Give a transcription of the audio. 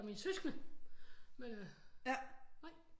Det var mine søskende nej